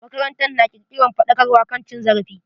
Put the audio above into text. Makarantar na kirkiran faɗakarwa kan cin zarafi.